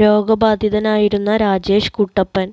രോഗ ബാധിതനായിരുന്ന രാജേഷ് കുട്ടപ്പൻ